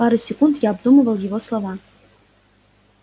пару секунд я обдумывал его слова